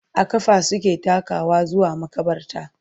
a ƙafa suke takawa zuwa maƙabarta